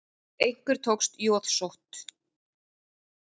Einhver tók jóðsótt.